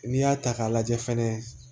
N'i y'a ta k'a lajɛ fɛnɛ